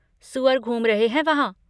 सुअर घूम रहे हैं वहाँ।